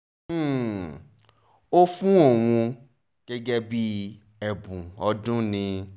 um ó fún òun gẹ́gẹ́ bíi ẹ̀bùn ọdún ni